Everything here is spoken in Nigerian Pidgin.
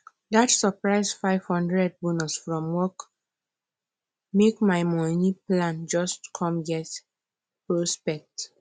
dat surprise 500 bonus from work make my money plan just come get prospect